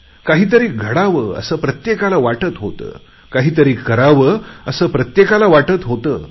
काहीतरी घडावं असे प्रत्येकाला वाटत होते काहीतरी करावे असे प्रत्येकाला वाटते होते